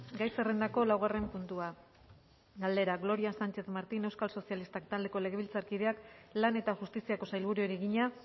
gai zerrendako laugarren puntua galdera gloria sánchez martín euskal sozialistak taldeko legebiltzarkideak lan eta justiziako sailburuari egina